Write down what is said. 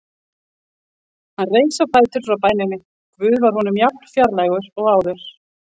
Hann reis á fætur frá bæninni: Guð var honum jafn fjarlægur og áður.